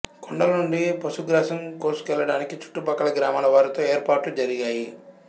కొండల నుండి పశుగ్రాసం కోసుకెళ్ళడానికి చుట్టుపక్కల గ్రామాల వారితో ఏర్పాట్లు జరిగాయి